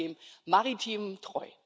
Ich bleibe dem Maritimen treu!